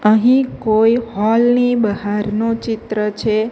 અહીં કોઈ હોલ ની બહારનો ચિત્ર છે.